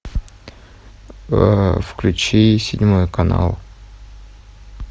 включи седьмой канал